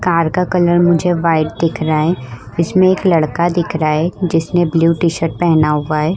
Car का colour मुझे white दिख रहा है इसमें एक लड़का दिख रहा है जिसने ब्लू टी-शर्ट पहना हुआ है।